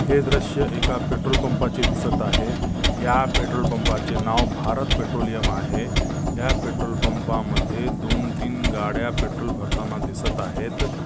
हे दृश्य एका पेट्रोल पंपाचे दिसत आहे या पेट्रोल पंपाचे नाव भारत पेट्रोलेयम आहे या पेट्रोल पंपा मध्ये दोन तीन गाड्या पेट्रोल भरताना दिसत आहेत.